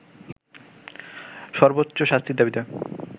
সর্বোচ্চ শাস্তির দাবিতে